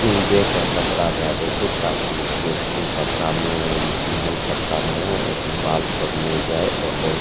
तिहो देह पर कपड़ा दा देय छै ताकि कपड़ा में पिन्हल कपड़ा में बाल सब ने जाय और बहुत --